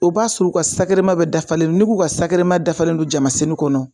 O b'a sɔrɔ u ka bɛ dafalen n'i k'u ka dafalen don jamasenu kɔnɔ